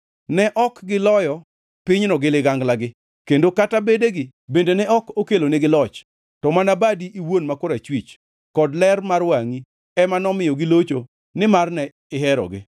Ne ok giloyo pinyno gi liganglagi kendo kata bedegi bende ne ok okelonigi loch; to mana badi iwuon ma korachwich, kod ler mar wangʼi ema nomiyo gilocho nimar ne iherogi.